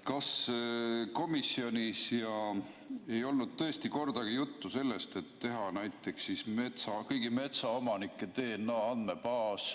Kas komisjonis ei olnud tõesti kordagi juttu sellest, et teha näiteks kõigi metsaomanike DNA andmebaas,